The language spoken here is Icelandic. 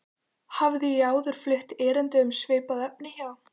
Hafði ég áður flutt erindi um svipað efni hjá